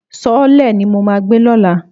Sọ́ọ́lẹ̀ ni mo máa gbé lọ́la.